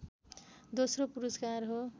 दोस्रो पुरस्कार हो